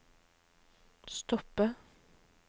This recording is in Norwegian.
stoppe